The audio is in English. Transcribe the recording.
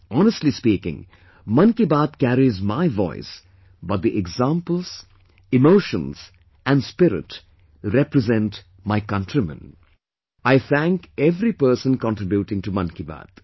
Honestly speaking, Mann Ki Baat carries my voice but the examples, emotions and spirit represent my countrymen, I thank every person contributing to Mann Ki Baat